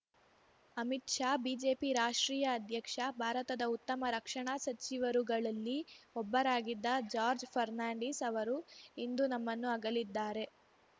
Amit Shah BJP ರಾಷ್ಟ್ರೀಯ ಅಧ್ಯಕ್ಷ ಭಾರತದ ಉತ್ತಮ ರಕ್ಷಣಾ ಸಚಿವರುಗಳಲ್ಲಿ ಒಬ್ಬರಾಗಿದ್ದ ಜಾರ್ಜ್ ಫರ್ನಾಂಡಿಸ್‌ ಅವರು ಇಂದು ನಮ್ಮನ್ನು ಅಗಲಿದ್ದಾರೆ